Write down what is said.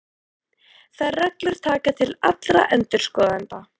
Þær reglur taka til allra endurskoðenda.